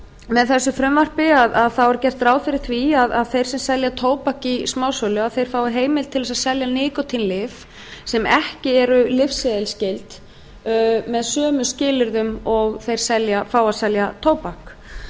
með þessu frumvarpi er gert ráð fyrir því að þeir sem selja tóbak í smásölu fái heimild til þess að selja níkótínlyf sem ekki eru lyfseðilsskyld með sömu skilyrðum og þeir fá að selja tóbak